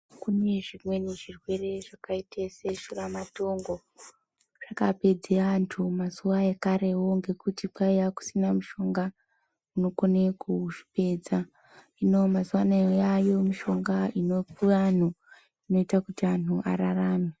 Kune zvimweni zvirwere zvakaite seshuramatongo. Zvakapedze antu mazuva ekarewo ngekutikwaiya kusina mishonga unokone kuzvipedza. Hino mazuvaano yaayo mishonga inopiwa anhu inoita kuti anhu ararame.